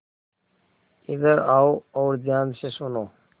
इधर आओ और ध्यान से सुनो